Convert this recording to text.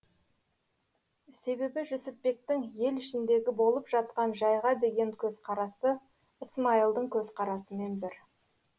себебі жүсіпбектің ел ішіндегі болып жатқан жайға деген көзқарасы ысмайылдың көзқарасымен бір